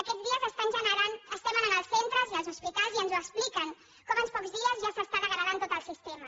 aquests dies estem anant als centres i als hospitals i ens ho expliquen com en pocs dies ja s’està degradant tot el sistema